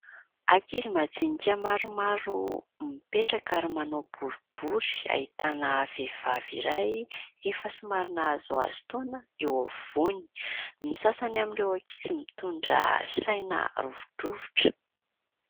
Ankizy majinika maromaro mipetraka ary manao boribory ahitana vehivavy iray efa somary nahazoazo taona eo afovoany ny sasany amin'ireo ankizy mitondra saina rovidrovitra